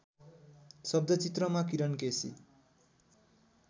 शब्दचित्रमा किरण केसी